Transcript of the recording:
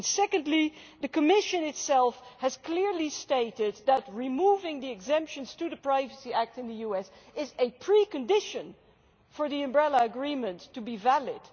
Secondly, the Commission itself has clearly stated that removing the exemptions to the Privacy Act in the US is a precondition for the umbrella agreement to be valid.